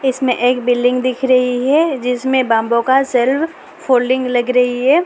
इसमें एक बिल्डिंग दिख रही है जिसमें बांबू का सेल्फ फोल्डिंग लग रही है।